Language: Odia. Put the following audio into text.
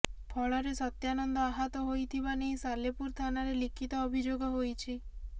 ଫଳରେ ସତ୍ୟାନନ୍ଦ ଆହତ ହୋଇଥିବା ନେଇ ସାଲେପୁର ଥାନାରେ ଲିଖିତ ଅଭିଯୋଗ ହୋଇଛି